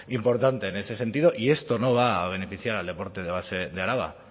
importante en ese sentido y esto no va a beneficiar al deporte de base de araba